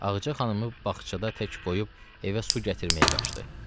Ağca xanımı bağçada tək qoyub evə su gətirməyə qaçdı.